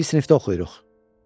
Bir sinifdə oxuyuruq.